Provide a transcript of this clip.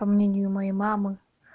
по мнению моей мамы